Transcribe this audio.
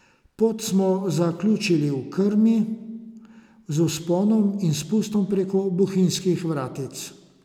Pot smo zaključili v Krmi z vzponom in spustom preko Bohinjskih vratc.